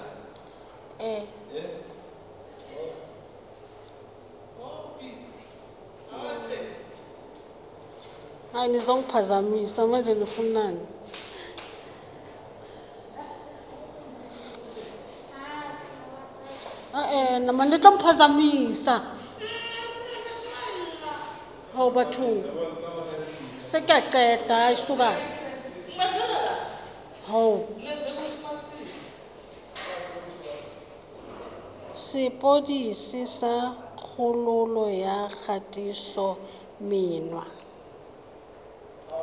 sepodisi sa kgololo ya kgatisomenwa